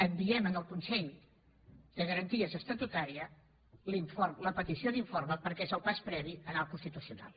enviem en el consell de garanties estatutàries la petició d’informe perquè és el pas previ a anar al constitucional